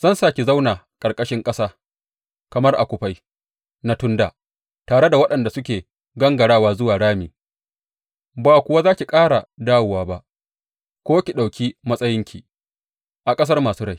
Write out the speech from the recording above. Zan sa ki zauna ƙarƙashin ƙasa, kamar a kufai na tun dā, tare da waɗanda suke gangarawa zuwa rami, ba kuwa za ki ƙara dawowa ba ko ki ɗauki matsayinki a ƙasar masu rai.